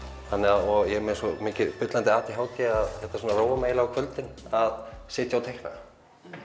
og ég með svo mikið bullandi a d h d að þetta róar mig á kvöldin að sitja og teikna